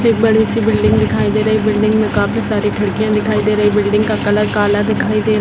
एक बड़ी सी बिल्डिंग दिखाई दे रही है बिल्डिंग में काफी सारी खिड़कियाँ दिखाई दे रही है बिल्डिंग का कलर काला दिखाई दे --